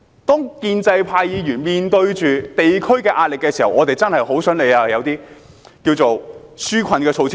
當建制派議員面對地區壓力的時候，我們真的很想政府提供一些紓困措施。